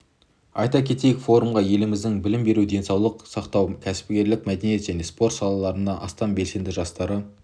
айта кетейік форумға еліміздің білім беру денсаулық сақтау кәсіпкерлік мәдениет және спорт салаларының астам белсенді жастары